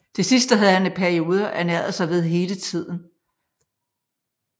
Det sidste havde han i perioder ernæret sig ved hele tiden